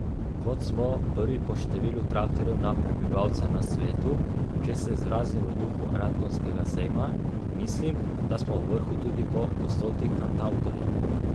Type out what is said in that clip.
Kot smo prvi po številu traktorjev na prebivalca na svetu, če se izrazim v duhu radgonskega sejma, mislim, da smo v vrhu tudi po gostoti kantavtorjev.